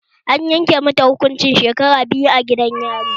An yanke mata hukuncin shekara biyu a gidan yari